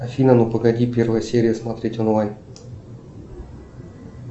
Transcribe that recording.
афина ну погоди первая серия смотреть онлайн